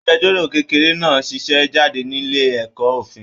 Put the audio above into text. Agbẹ̀jọ́ro kékeré náà ṣẹṣẹ jáde nílé ẹ̀kọ́ ofin.